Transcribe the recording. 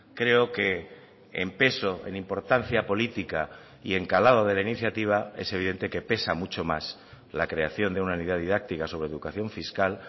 creo que en peso en importancia política y en calado de la iniciativa es evidente que pesa mucho más la creación de una unidad didáctica sobre educación fiscal